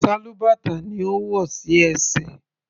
Sálúbàtà ni ó wò sí ẹsẹ̀.